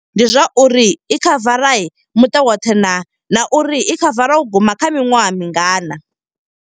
Ndi zwa uri, i khavara muṱa woṱhe naa? Na uri i khavara u guma kha miṅwaha mingana?